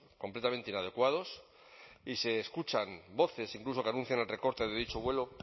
completamente inadecuados y se escuchan voces incluso que anuncian el recorte de dicho vuelo